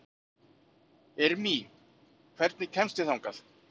Irmý, hvernig kemst ég þangað?